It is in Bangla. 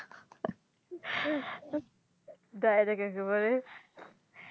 ডায়রেক একেবারে